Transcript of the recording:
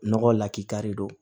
Nɔgɔ lakika de don